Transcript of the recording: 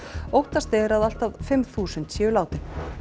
óttast er að allt að fimm þúsund séu látin